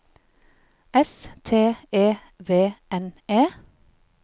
S T E V N E